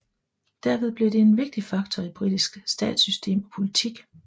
Derved blev det en vigtig faktor i britisk statssystem og politik